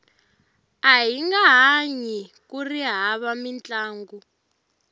ahinga hanyi kuri hava mintlangu